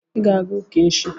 Ị ga-aga ụka echi